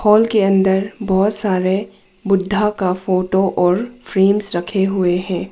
Hall के अंदर बहुत सारे बुद्धा का फोटो और फ्रेम्स रखे हुए हैं।